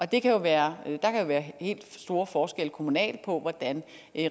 der kan jo være helt store forskelle kommunalt på hvordan